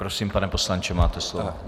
Prosím, pane poslanče, máte slovo.